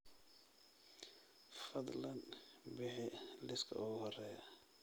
fadlan bixi liiska ugu horeeya